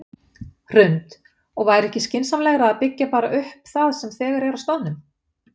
Hrund: Og væri ekki skynsamlegra að byggja bara upp það sem þegar er á staðnum?